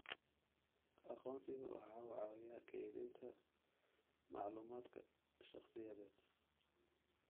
Aqoonsigu waxa uu caawiyaa kaydinta macluumaadka shakhsiyeed.